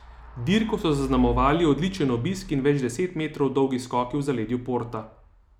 Dirko so zaznamovali odličen obisk in več deset metrov dolgi skoki v zaledju Porta.